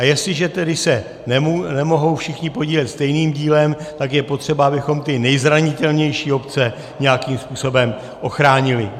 A jestliže se tedy nemohou všichni podílet stejným dílem, tak je potřeba, abychom ty nejzranitelnější obce nějakým způsobem ochránili.